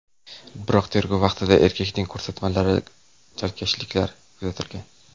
Biroq tergov vaqtida erkakning ko‘rsatmalarida chalkashliklar kuzatilgan.